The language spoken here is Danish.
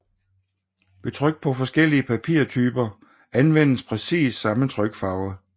Ved tryk på forskellige papirtyper anvendes præcis samme trykfarve